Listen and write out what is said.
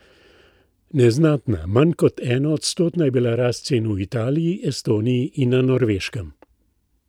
Neznatna, manj kot enoodstotna, je bila rast cen v Italiji, Estoniji in na Norveškem.